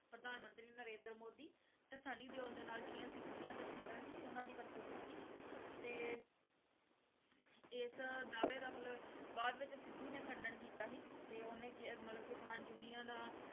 ਪ੍ਰਧਾਨ ਮੰਤਰੀ ਨੰਰੇਂਦਰ ਮੋਦੀ ਤੇ ਸਨੀ ਦਿਓਲ ਦੇ ਨਾਲ ਜਿਹੜੀਆਂ ਸਿੱਧੂ ਦੀਆਂ ਤਸ਼ਵੀਰਾਂ ਸੀ ਉਹਨਾਂ ਦੀ ਵਰਤੋਂ ਕੀਤੀ ਤੇ ਇਸ ਦਾਅਵੇ ਦਾ ਮਤਲਬ ਬਾਅਦ ਵਿੱਚ ਸਿੱਧੂ ਨੇ ਖੰਡਨ ਕੀਤਾ ਸੀ ਤੇ ਉਹਨੇ ਕਿ ਮਤਲਬ ਕਿਸਾਨ ਯੂਨੀਅਨਾਂ